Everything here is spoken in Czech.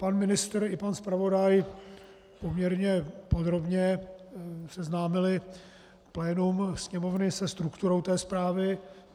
Pan ministr i pan zpravodaj poměrně podrobně seznámili plénum Sněmovny se strukturou té zprávy.